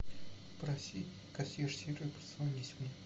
попроси консьерж сервис позвонить мне